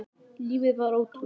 Lífið var ótrúlegt.